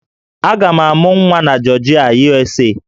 Aga m amụ nwa na Jọọjịa, USA